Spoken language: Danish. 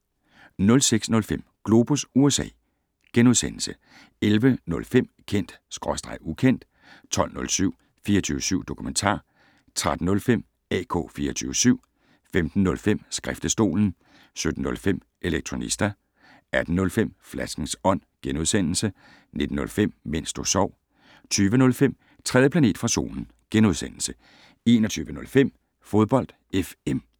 06:05: Globus USA * 11:05: Kendt/Ukendt 12:07: 24syv Dokumentar 13:05: AK 24syv 15:05: Skriftestolen 17:05: Elektronista 18:05: Flaskens Ånd * 19:05: Mens du sov 20:05: 3. planet fra Solen * 21:05: Fodbold FM